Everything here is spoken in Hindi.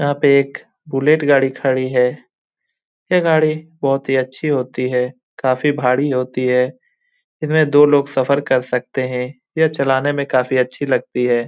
यहाँ पे एक बुलेट गाड़ी खडी है । यह गाड़ी बहुत ही अच्छी होती है । काफी भारी होती है । इसमें दो लोग सफ़र कर सकते है । यह चलाने में काफी अच्छी लगती है ।